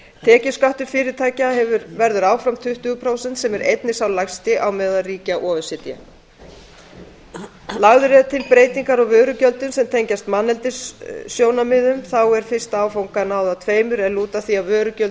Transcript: tekjuskattur fyrirtækja verður áfram tuttugu prósent sem er einn sá lægsti á meðal ríkja o e c d lagðar eru til breytingar á vörugjöldum sem tengjast manneldissjónarmiðum þá er fyrsta áfanga náð af tveimur er lúta að því að vörugjöld